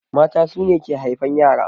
Mata su ne ke haifan ƴara.